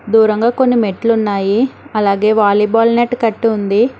దూరంగా కొన్ని మెట్లున్నాయి అలాగే వాలీబాల్ నెట్ కట్టి ఉంది.